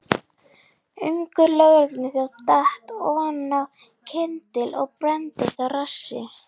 Ungur lögregluþjónn datt oná kyndil og brenndist á rassi.